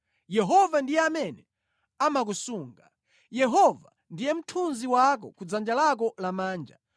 Yehova ndiye amene amakusunga; Yehova ndiye mthunzi wako ku dzanja lako lamanja.